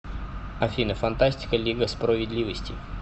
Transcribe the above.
афина фантастика лига спроведливости